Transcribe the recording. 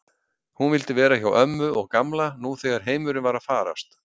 Hún vildi vera hjá ömmu og Gamla nú þegar heimurinn var að farast.